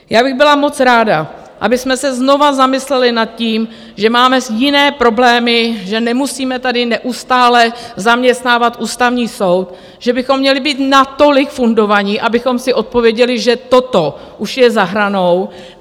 Já bych byla moc ráda, abychom se znovu zamysleli nad tím, že máme jiné problémy, že nemusíme tady neustále zaměstnávat Ústavní soud, že bychom měli být natolik fundovaní, abychom si odpověděli, že toto už je za hranou.